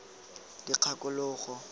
dikgakologo